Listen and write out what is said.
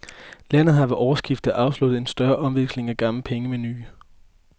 Landet har ved årsskiftet afsluttet en større omveksling af gamle penge med nye.